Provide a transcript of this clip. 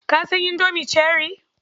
Ka san Indomie cherrie?